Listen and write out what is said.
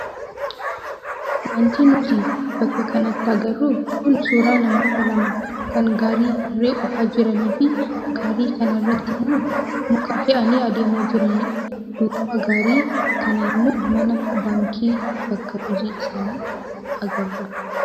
Wanti nuti bakka kanatti agarru kun suuraa namoota lama kan gaarii harree oofaa jiranii fi gaarii kanarratti immoo muka fe'anii adeemaa jiranidha. Duuba gaarii kanaa immoo mana baankii bakka hojii isaanii agarra.